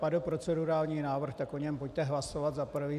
Padl procedurální návrh, tak o něm pojďte hlasovat - za prvé.